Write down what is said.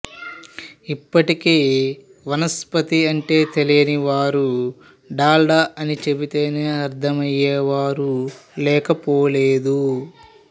ఇప్పటికీ వనస్పతి అంటే తెలియని వారు డాల్డా అని చెబితేనే అర్థం అయ్యేవారు లేకపోలేదు